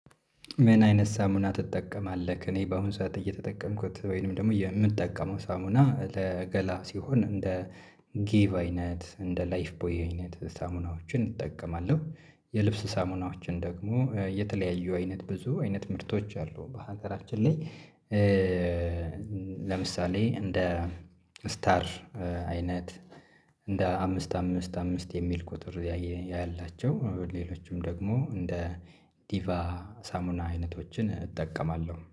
ምን አይነት ሳሙና ትጠቀማለህ? እኔ በአሁን ሰዓት እየተጠቀምኩት ወይንም ደግሞ የምጠቀመው ሳሙና ለገላ ሲሆን እንደ ጊቭ አይነት እንደ ላይፍ ቦይ አይነት ሳሙናዎችን እጠቀማለሁ። የልብስ ሳሙናዎችን ደግሞ የተለያዩ አይነት ብዙ አይነት ምርቶች አሉ በሀገራችን ላይ። ለምሳሌ እንደ ስታር አይነት እንደ አምስት አምስት አምስት የሚል ቁጥር ያየ ያላቸው ሌሎችም ደግሞ እንደ ዲቫ ሳሙና አይነቶችን እጠቀማለሁ